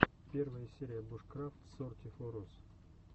первая серия бушкрафт сорти фо рус